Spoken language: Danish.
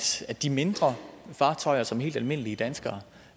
de mindre fartøjer som helt almindelige danskere